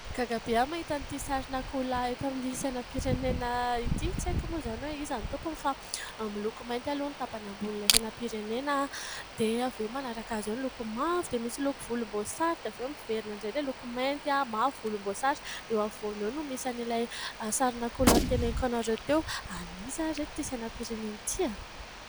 Gaga be aho mahita ity sarina akoho lahy eto amin'ny sainam-pirenena ity. Tsy aiko moa izany hoe iza no tompony fa miloko mainty aloha ny tapany ambon'ny sainam-pirenena ary dia avy eo manaraka azy io ny loko mavo dia misy loko volom-boasary dia avy eo miverina indray ilay loko mainty ary mavo, volom-bosary dia eo afovoany eo no misy any ilay sarina akoho lahy noteneniko anareo teo. Aniza ry reto ity sainam-pirenena ity?